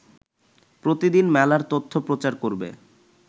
প্রতিদিন মেলার তথ্য প্রচার করবে